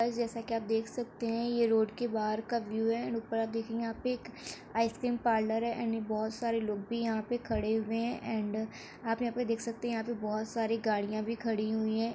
Guys जैसा की आप देख सकते है ये रोड के बाहर का व्यू है एंड ऊपर आप देखेंगे यहाँ पे एक आइस क्रीम पार्लर है एंड बहुत सारे लोग भी यहाँ पे खड़े हुए हैं एंड आप यहाँ पे देख सकते हैं यहाँ पे बहुत सारी गाड़ियाँ भी खड़ी हुई हैं।